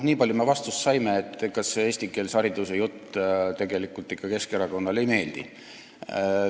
Niipalju me vastust saime, et ega see eestikeelse hariduse jutt ikka Keskerakonnale ei meeldi.